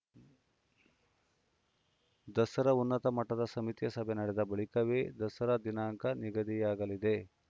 ದಸರಾ ಉನ್ನತ ಮಟ್ಟದ ಸಮಿತಿಯ ಸಭೆ ನಡೆದ ಬಳಿಕವೇ ದಸರಾ ದಿನಾಂಕ ನಿಗದಿಯಾಗಲಿದೆ